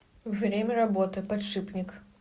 время работы подшипник